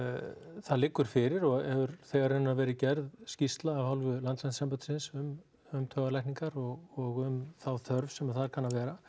það liggur fyrir og hefur þegar í raun verið gerð skýrsla af hálfu landlæknisembættisins um taugalækningar og um þá þörf sem þar kann að vera